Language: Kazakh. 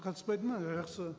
қатыспайды ма жақсы